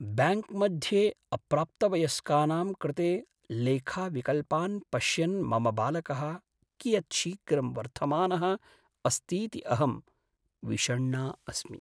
ब्याङ्क्मध्ये अप्राप्तवयस्कानां कृते लेखाविकल्पान् पश्यन् मम बालकः कियत् शीघ्रं वर्धमानः अस्तीति अहं विषण्णा अस्मि।